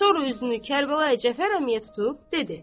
Sonra üzünü Kərbəlayi Cəfər əmiyə tutub, dedi: